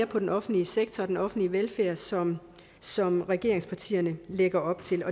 på den offentlige sektor og den offentlige velfærd sådan som regeringspartierne lægger op til